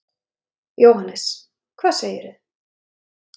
Jóhannes: Hvað segirðu?